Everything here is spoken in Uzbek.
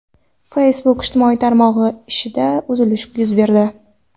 Facebook ijtimoiy tarmog‘i ishida uzilish yuz berdi.